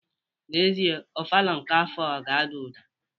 N'ezie, ofala nke afọ a ga-ada ụda.